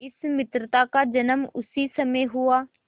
इस मित्रता का जन्म उसी समय हुआ